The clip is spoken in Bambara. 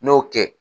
N y'o kɛ